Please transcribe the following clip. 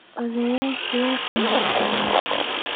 Oodhoyashi way qamri cabayan.